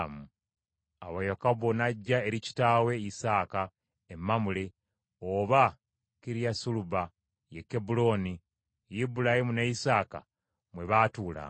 Awo Yakobo n’ajja eri kitaawe Isaaka e Mamule, oba Kiriyasaluba, ye Kebbulooni, Ibulayimu ne Isaaka mwe baatuulanga.